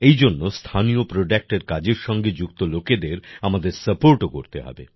এই জন্য স্থানীয় প্রোডাক্টের কাজের সঙ্গে যুক্ত লোকেদের আমাদের Suportও করতে হবে